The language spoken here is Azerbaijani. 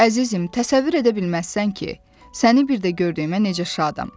Əzizim, təsəvvür edə bilməzsən ki, səni bir də gördüyümə necə şadam.